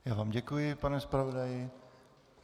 Já vám děkuji, pane zpravodaji.